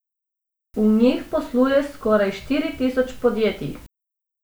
V njih posluje skoraj štiri tisoč podjetij.